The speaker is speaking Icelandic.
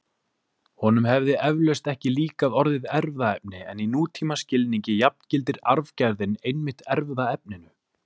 Honum hefði eflaust ekki líkað orðið erfðaefni en í nútímaskilningi jafngildir arfgerðin einmitt erfðaefninu.